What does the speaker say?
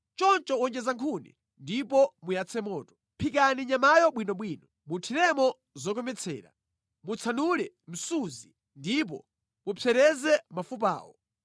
Choncho wonjeza nkhuni ndipo muyatse moto. Phikani nyamayo bwinobwino, muthiremo zokometsera, mutsanule msuzi, ndipo mupsereze mafupawo.